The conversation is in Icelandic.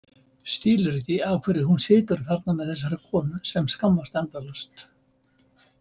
Skilur ekki af hverju hún situr þarna með þessari konu sem skammast endalaust.